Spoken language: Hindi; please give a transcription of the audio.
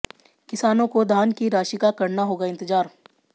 किसानों को धान की राशि का करना होगा इंतजार